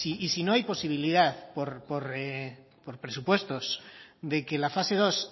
y si no hay posibilidad por presupuestos de que la fase dos